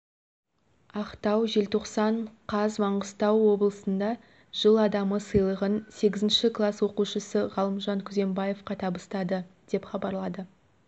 ақтау желтоқсан қаз маңғыстау облысында жыл адамы сыйлығын сегізінші класс оқушысы ғалымжан күзембаевқа табыстады деп хабарлады